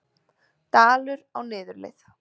Dalur á niðurleið